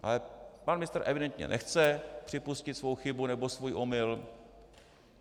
Ale pan ministr evidentně nechce připustit svou chybu nebo svůj omyl.